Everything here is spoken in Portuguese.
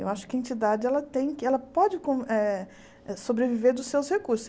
Eu acho que a entidade ela tem ela pode eh sobreviver dos seus recursos.